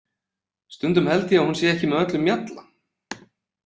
Stundum held ég að hún sé ekki með öllum mjalla.